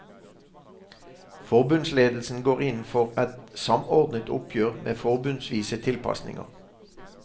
Forbundsledelsen går inn for et samordnet oppgjør med forbundsvise tilpasninger.